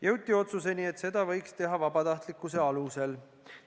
Jõuti otsusele, et seda võiks teha vabatahtlikkuse alusel.